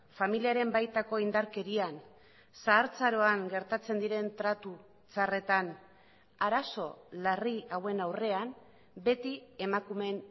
familiaren baitako indarkerian zahartzaroan gertatzen diren tratu txarretan arazo larri hauen aurrean beti emakumeen